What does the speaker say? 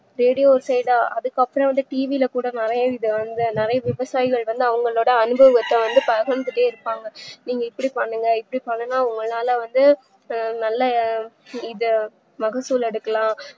radio ஒரு side ஆ அதுக்குஅப்றம் TV ல கூ நறைய விவசாய்கள் வந்து அவங்களோட அனுபவத்த பகிர்த்ந்துட்டே இருப்பாங்க நீங்க இப்டி பண்ணுங்க இப்டி பண்ணா உங்களால வந்து நல்ல இத மகசூல் எடுக்கலாம்